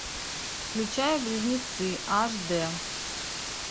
включай близнецы аш дэ